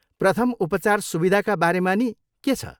प्रथम उपचार सुविधाका बारेमा नि के छ?